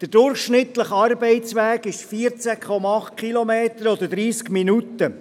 Der Arbeitsweg ist durchschnittlich 14,8 Kilometer lang oder dauert 30 Minuten.